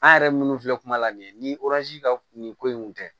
An yɛrɛ minnu filɛ kuma la nin ye ni ka nin ko in kun tɛ